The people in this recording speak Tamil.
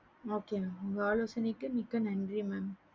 okay mam உங்க ஆலோசனைக்கு மிக்க நன்றி mam